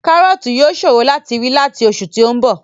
Kárọ̀ọ̀tì yóò ṣòro láti rí láti oṣù tí ó ń bọ̀